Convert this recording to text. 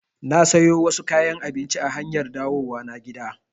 Na sayo wasu kayan abinci a hanyar dawowa na gida